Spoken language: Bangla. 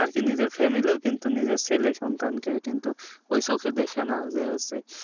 আরকি নিজের family কিন্তু নিজের ছেলে সন্তানকে কিন্তু ঐ চোখে দেখে না যে হচ্ছে